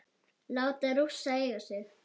Láta Rússa eiga sig?